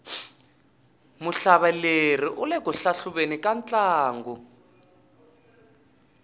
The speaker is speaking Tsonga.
muhlaveleri ule ku hlahluveni ka ntlangu